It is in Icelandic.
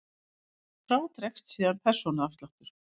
Frá dregst síðan persónuafsláttur.